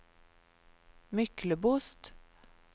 Myklebost